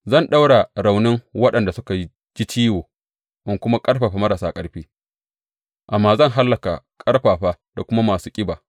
Zan ɗaura raunin waɗanda suka ji ciwo in kuma ƙarfafa marasa ƙarfi, amma zan hallaka ƙarfafa da kuma masu ƙiba.